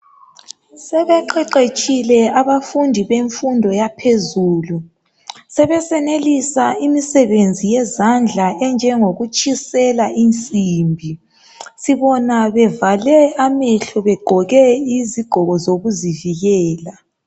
Sebeqeqetshile abafundi bemfundo yaphezulu. Sebesenelisa imisebenzi yezandla enjengokutshisela insimbi. Sibona bevale amehlo begqoke izigqoko zokuzivikela.